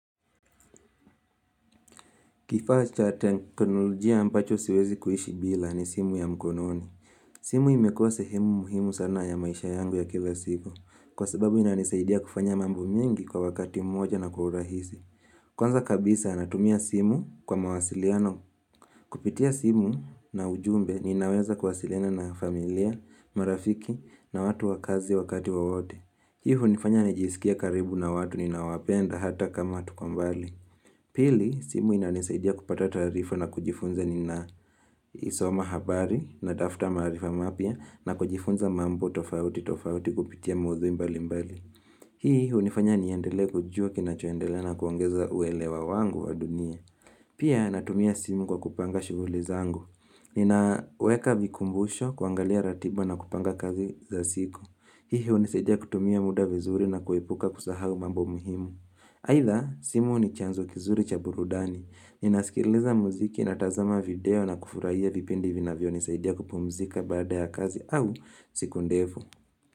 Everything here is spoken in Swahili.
Kifaa cha teknolojia ambacho siwezi kuishi bila ni simu ya mkononi. Simu imekuwa sehemu muhimu sana ya maisha yangu ya kila siku. Kwa sababu inanisaidia kufanya mambo mingi kwa wakati moja na kwa urahisi. Kwanza kabisa natumia simu kwa mawasiliano. Kupitia simu na ujumbe ninaweza kuwasiliana na familia, marafiki na watu wa kazi wakati wowote. Hii hunifanya nijisikie karibu na watu ninawapenda hata kama tuko mbali. Pili, simu inanisaidia kupata taarifa na kujifunza nina soma habari natafuta maarifa mapya na kujifunza mambo tofauti tofauti kupitia maudhui mbali mbali. Hii hunifanya niendelee kujua kinachoendelea na kuongeza uwelewa wangu wa dunia. Pia natumia simu kwa kupanga shughuli zangu. Ninaweka vikumbusho kuangalia ratiba na kupanga kazi za siku. Hii hunisaidia kutumia muda vizuri na kuepuka kusahau mambo muhimu. Aidha, simu ni chanzo kizuri cha burudani. Ninasikiliza muziki natazama video na kufurahia vipindi vinavyonisaidia kupumzika baada ya kazi au siku ndefu.